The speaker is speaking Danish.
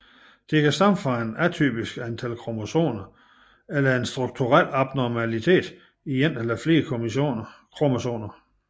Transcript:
Det kan stamme fra et atypisk antal kromosomer eller en strukturel abnormalitet i en eller flere kromosomer